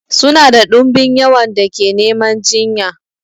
Suna da dumbin yawan da ke neman jinya.